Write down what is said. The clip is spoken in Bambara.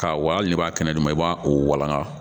Ka wal n'i b'a kɛnɛ dun i b'a o walanga